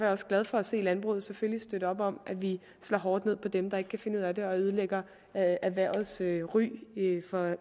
også glad for at se at landbruget selvfølgelig støtter op om at vi slår hårdt ned på dem der ikke kan finde ud af det og ødelægger erhvervets ry ry